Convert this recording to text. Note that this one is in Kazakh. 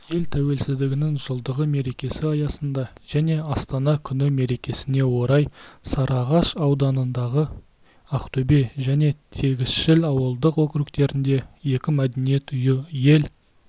ел тәуелсіздігінің жылдығы мерекесі аясында және астана күні мерекесіне орай сарыағаш ауданындағы ақтөбе және тегісшіл ауылдық округтерінде екі мәдениет үйі ел